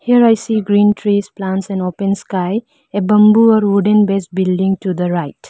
here i see green trees plants and open sky a bamboo or wooden base building to the right.